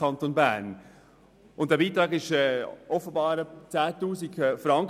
Dieser Beitrag beträgt offenbar 10 000 Franken.